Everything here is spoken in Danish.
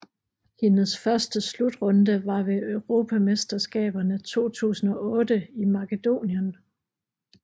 Hendes første slutrunde var ved Europamesterskaberne 2008 i Makedonien